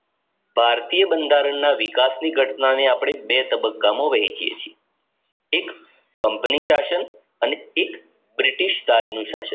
ભારતીય બંધારણની વિકાસ ની ઘટના ને અપડે બે તબબક્કા માં વહેચીયે છીએ એક company સાથઈ અને એક બ્રિટિશ રાજ ની સાથે